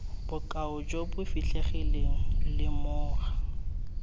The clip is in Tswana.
bokao jo bo fitlhegileng lemoga